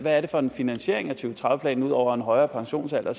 er det for en finansiering af to tredive planen ud over en højere pensionsalder